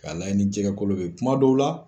Ka lajɛ ni jɛgɛkolo be yen. Kuma dɔw la